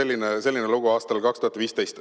" Vaat selline lugu aastal 2015.